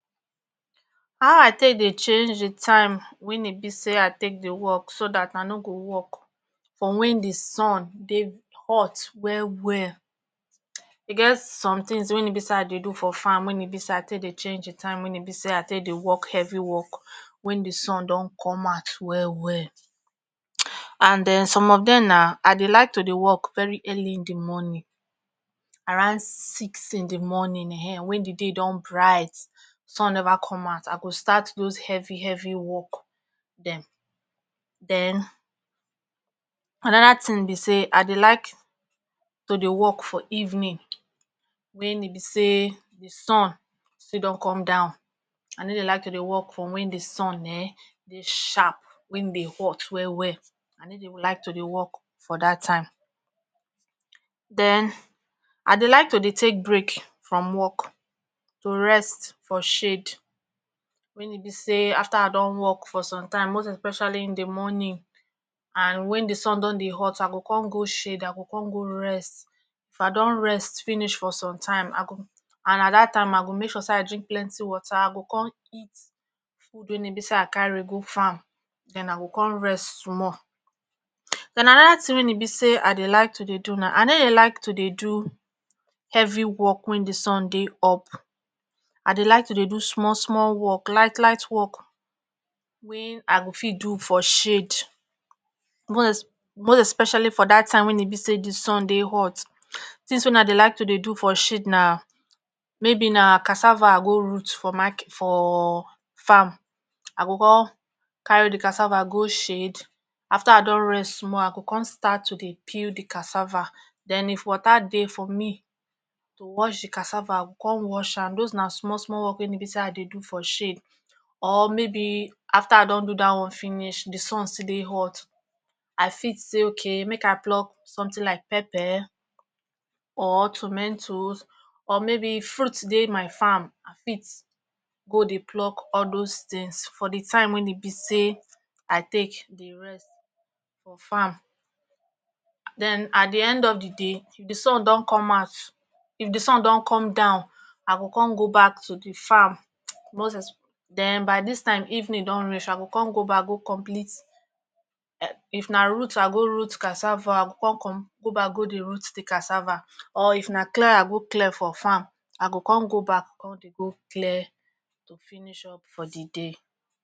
how i take dey change di time wen e be say ah take dey work so dat ah no go work for wen di sun dey hot well well get e some tins wen e be say i dey do for farm wen e be say i take dey change di time wen e be say ah take dey work heavy work wen di sun don com out well well and den some of dem na i dey like to dey work very early in di morning around six in di morning[um]ehn wey di day don brite sun never com out i go start doz heavy heavy work dem den anoda tin be say i dey like to dey work for eveninwen e be say di sun fi don come down i ne dey like to dey work for wen di sun um dey sharp wey dey hot wwell well i ne dy like to dey work for dat time. den i dey like to dey take break from work to rest for shade wen e be say after i don work for som time most especially in the morning and wen di sun don dey hot i go con go shade i go con go rest if i don rest finish for som time i go and ah dat time i go make sure say i drink water i go con eat food me be say i carry go farm den i go con rest small. den anoda tin wen e be say i dey like to dey do na i ne dey like tu dey do heavy work wen di sun dey up i dey like tu dey do small small work light light work wey i go fit do for shade mosz mosz especially for dat time wen e be say di sun dey tins wey i dey like tu dey do for shade na maybe na casava ah root for maket for farm, i go con carry di casava go shade after i don rest small i go con tu dey peel di casava den if waka dey for me to wash the casava i go con wash an doz na small small work wen e be say i dey do for shade or maybe after ah don do dat one finish di sun still dey hot i fit say okay make ah pluk somtin like pepper or tumetoz or maybe fruit dey my farm i fit dey go pluk all doz tins for di time wen e be say i take dey rest for farm. den i dey end up di day if di sun don com out sun don com down i go con go back to di farm moz esp den by dis time evenin don reach i go con go back go complete um if na root i go root casava i go con com go back go dey root casava or if na clear i go clear for farm i go con go back con dey go clear to finish up for the day